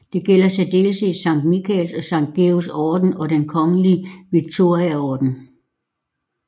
Det gælder i særdeleshed Sankt Mikaels og Sankt Georgs orden og Den kongelige Victoriaorden